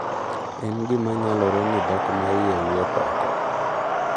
"En gima nyalore ni dhok ma iye wuok oko."""